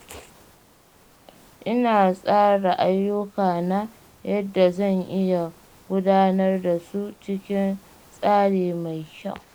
Ina tsara ayyukana yadda zan iya gudanar da su cikin tsari mai kyau.